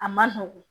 A man nɔgɔn